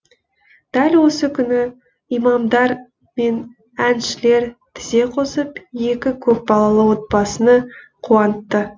дәл осы күні имамдар мен әншілер тізе қосып екі көпбалалы отбасыны қуантты